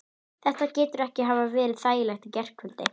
Þetta getur ekki hafa verið þægilegt í gærkvöldi?